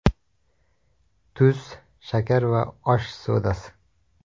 Tuz, shakar va osh sodasi.